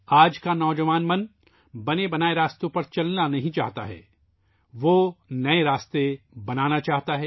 آج کا نوجوان بنے بنائے راستوں پر نہیں چلنا چاہتا ، وہ نئے راستے بنانا چاہتا ہے